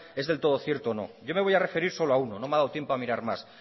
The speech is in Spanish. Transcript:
el del todo cierto o no yo me voy a referir solo a uno no me ha dado tiempo a mirar más